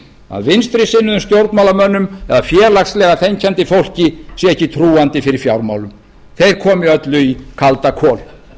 að vinstri sinnuðum stjórnmálamönnum eða félagslega þenkjandi fólki sé ekki trúandi fyrir fjármálum þeir komi öllu í kaldakol